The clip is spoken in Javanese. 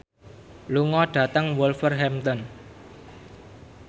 lunga dhateng Wolverhampton